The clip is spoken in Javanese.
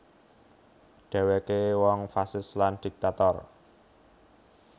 Dhèwèké wong fasis lan dhiktator